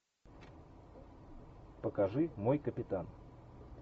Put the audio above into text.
покажи мой капитан